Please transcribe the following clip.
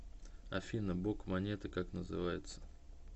афина бок монеты как называется